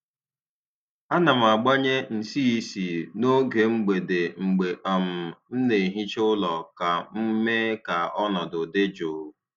A na m gbanye nsị ísì n’oge mgbede mgbe um m na-ehicha ụlọ ka m mee ka ọnọdụ dị jụụ.